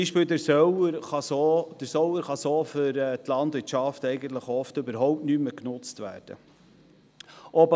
Das hat zur Folge, dass gewisse Räume für die Landwirtschaft oft nicht mehr genutzt werden können.